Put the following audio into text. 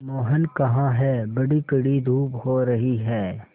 मोहन कहाँ हैं बड़ी कड़ी धूप हो रही है